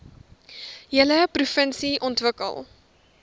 hele provinsie ontwikkel